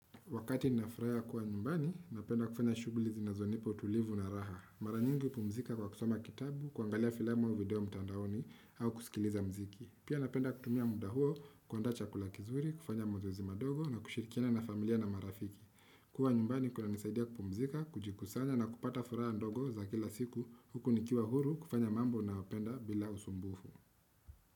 Wakati ninafurahia kuwa nyumbani, ninapenda kufanya shughuli zinazonipa utulivu na raha. Mara nyingi hupumzika kwa kusoma kitabu, kuangalia filamu au video mtandaoni, au kusikiliza mziki. Pia napenda kutumia muda huo, kuandaa chakula kizuri, kufanya mazoezi madogo, na kushirikiana na familia na marafiki. Kuwa nyumbani kunanisaidia kupumzika, kujikusanya, na kupata furaha ndogo za kila siku, huku nikiwa huru, kufanya mambo ninayopenda bila usumbufu.